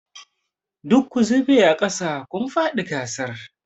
Duk ku zube aƙasa! kun faɗi gasar.